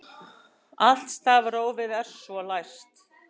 Allt stafrófið er svo læst